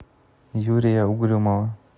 юрия угрюмова